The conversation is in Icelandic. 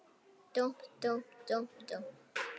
Dúmp, dúmp, dúmp, dúmp.